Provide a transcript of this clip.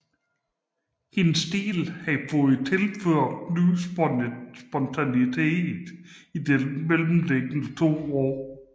Hendes stil havde fået tilført ny spontanitet i de mellemliggende to år